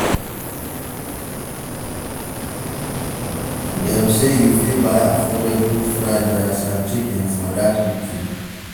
Dem sey you fit buy affordable fried rice and chicken for dat eatery.